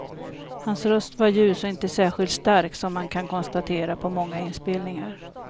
Hans röst var ljus och inte särskilt stark, som man kan konstatera på många inspelningar.